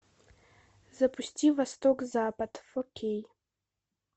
запусти восток запад фо кей